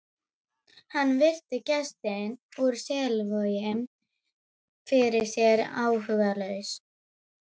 Hann virti gestinn úr Selvogi fyrir sér áhugalaus.